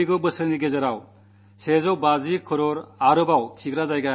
വരുന്ന വർഷം ഒന്നരക്കോടി ശൌചാലയങ്ങൾ കൂടി നിർമ്മിക്കാനുദ്ദേശിക്കുന്നു